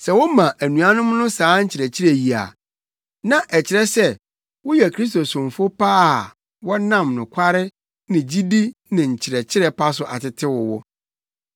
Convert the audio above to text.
Sɛ woma anuanom no saa nkyerɛkyerɛ yi a, na ɛkyerɛ sɛ woyɛ Kristo somfo pa a wɔnam nokware ne gyidi ne nkyerɛkyerɛ pa so atetew wo.